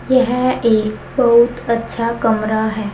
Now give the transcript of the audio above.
यह एक बहुत अच्छा कमरा है।